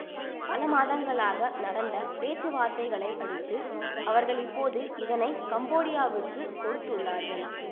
பல மாதங்களாக நடந்த பேச்சுவார்த்தைகளை அடுத்து அவர்கள் இப்போது இதனை கம்போடியாவுக்கு கொடுத்துள்ளார்கள்